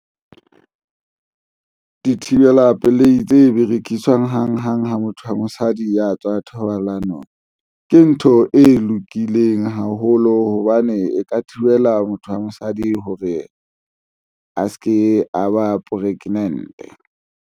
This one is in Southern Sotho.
Dithibela pelehi tse berekiswang hanghang. Ha motho wa mosadi ya tswa thobalano ke ntho e lokileng haholo hobane e ka thibela motho wa mosadi hore a se ke, a ba pregnant.